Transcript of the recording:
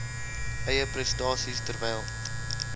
eie prestasie terwyl